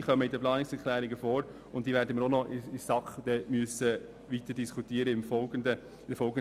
Sie kommen in den Planungserklärungen vor und müssen in der SAK in der folgenden Diskussion weiter thematisiert werden.